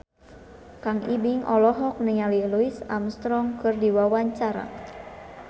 Kang Ibing olohok ningali Louis Armstrong keur diwawancara